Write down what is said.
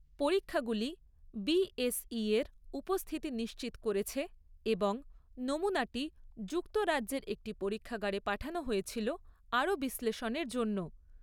পরীক্ষাগুলি বিএসইর উপস্থিতি নিশ্চিত করেছে এবং নমুনাটি যুক্তরাজ্যের একটি পরীক্ষাগারে পাঠানো হয়েছিল আরও বিশ্লেষণের জন্য।